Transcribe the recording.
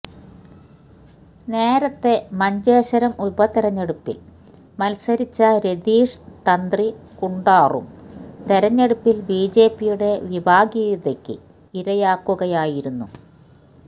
നേരത്തെ മഞ്ചേശ്വരം ഉപതെരഞ്ഞെടുപ്പിൽ മത്സരിച്ച രതീഷ് തന്ത്രി കുണ്ടാറും തെരഞ്ഞെടുപ്പിൽ ബിജെപിയുടെ വിഭാഗീയതക്ക് ഇരയാക്കുകയായിരുന്നു